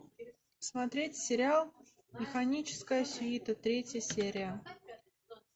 смотреть сериал механическая свита третья серия